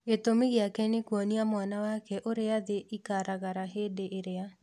Gĩtũmi gĩake nĩ kuonia mwana wake ũrĩa thĩ ikaragara Hindi ĩrĩa